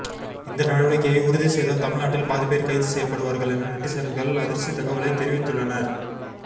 இந்த நடவடிக்கையை உறுதி செய்தால் தமிழ்நாட்டில் பாதி பேர் கைது செய்யப்படுவார்கள் என நெட்டிசன்கள் அதிர்ச்சி தகவலை தெரிவித்துள்ளனர்